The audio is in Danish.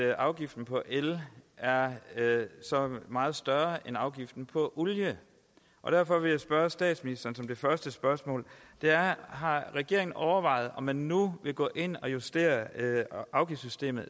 at afgiften på el er så meget større end afgiften på olie og derfor vil jeg spørge statsministeren som det første spørgsmål har regeringen overvejet om man nu vil gå ind og justere afgiftssystemet